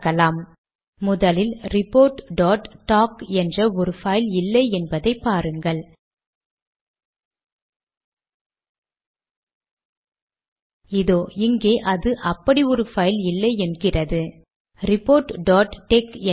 மீண்டும் ஸ்லாஷ் ஐ சேர்க்கிறேன் சேமித்து கம்பைல் செய்கிறேன்